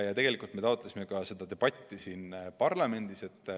Ja tegelikult me taotlesime ka seda debatti siin parlamendis.